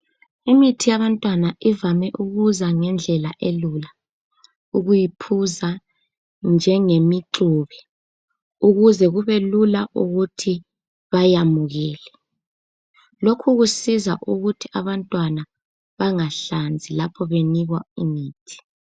Imithi yabantwana ivame ukuza ngendlela elula, ukuyiphuza njengemixubi ukuze kubelula ukuthi bayamukele. Lokhu kusiza ukuthi abantwana bangahlanzi lapho benikwa imithi.